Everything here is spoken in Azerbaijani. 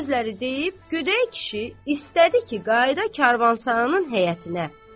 Bu sözləri deyib, gödək kişi istədi ki, qayıda karvansaranın həyətinə.